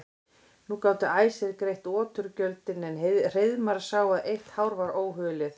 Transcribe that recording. Nú gátu æsir greitt oturgjöldin en Hreiðmar sá að eitt hár var óhulið.